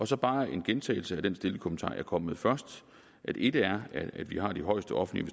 så bare en gentagelse af den stille kommentar jeg kom med først et er at vi har de højeste offentlige